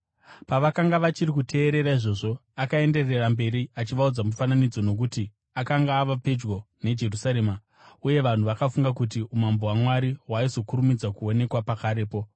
Pavakanga vachiri kuteerera izvozvo, akaenderera mberi achivaudza mufananidzo, nokuti akanga ava pedyo neJerusarema uye vanhu vakafunga kuti umambo hwaMwari hwaizokurumidza kuonekwa pakarepo.